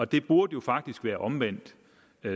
det burde jo faktisk være omvendt